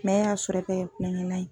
e y'a sɔrɔ e b'a kɛ kulonkɛlan ye.